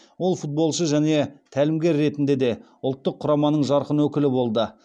ол футболшы және тәлімгер ретінде де ұлттық құраманың жарқын өкілі болды